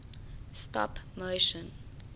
stop motion